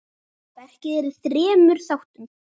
Verkið er í þremur þáttum.